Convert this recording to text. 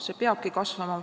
See peabki kasvama.